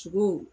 Sogo